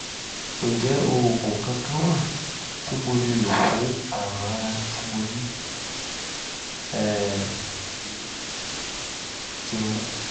ǹjẹ́ oògùn kankan wà tí mo lè lò fún àrùn ara tí mo ní? ẹ um ṣeun